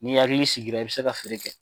N'i hakili sigira i bɛ se ka feere kɛ.